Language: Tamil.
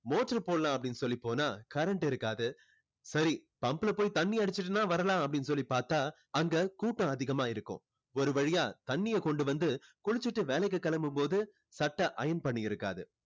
motor போடலாம் அப்படின்னு சொல்லி போனா current இருக்காது சரி pump ல போய் தண்ணி அடிச்சிட்டுன்னா வரலாம் அப்படின்னு சொல்லி பார்த்தா அங்க கூட்டம் அதிகமா இருக்கும் ஒரு வழியா தண்ணீரை கொண்டு வந்து குளிச்சிட்டு வேலைக்கு கிளம்பும் போது சட்டை iron பண்ணி இருக்காது